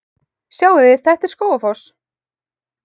Sjáiði! Þetta er Skógafoss.